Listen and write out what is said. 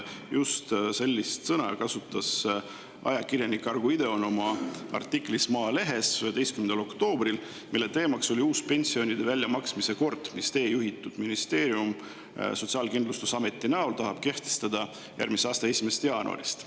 Just sellist sõna kasutas ajakirjanik Argo Ideon 11. oktoobril Maalehes oma artiklis, mille teema oli uus pensionide väljamaksmise kord, mida teie juhitud ministeerium Sotsiaalkindlustusameti kaudu tahab kehtestada järgmise aasta 1. jaanuarist.